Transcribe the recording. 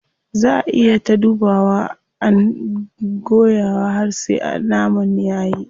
Zaa ayi ta dubawa and guyawa har sai naman yayi.